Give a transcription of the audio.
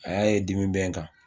A y'a ye dimi bɛ n kan